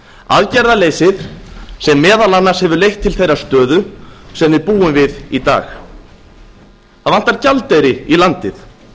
aðgerðaleysið sem meðal annars hefur leitt til þeirrar stöðu sem við búum við í dag það vantar gjaldeyri í landið